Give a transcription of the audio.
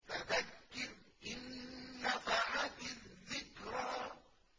فَذَكِّرْ إِن نَّفَعَتِ الذِّكْرَىٰ